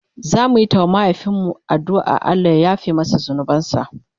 zamuyi ta wa mahaifin mu addu'an Allah ya yafe masa zunubansa